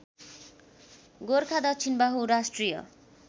गोरखा दक्षिणबाहु राष्ट्रिय